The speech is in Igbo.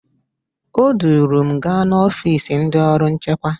O duru m gaa n'ọfisi ndị ọrụ nchekwa